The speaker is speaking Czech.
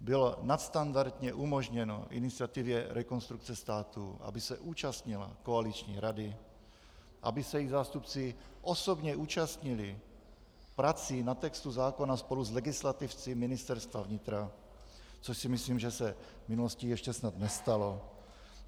Bylo nadstandardně umožněno iniciativě Rekonstrukce státu, aby se účastnila koaliční rady, aby se její zástupci osobně účastnili prací na textu zákona spolu s legislativci Ministerstva vnitra, což si myslím, že se v minulosti ještě snad nestalo.